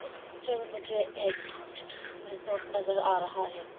इस पिक्चर में मुझे एक रिसॉर्ट नजर आ रहा है।